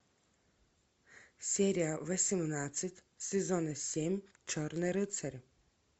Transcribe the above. серия восемнадцать сезона семь черный рыцарь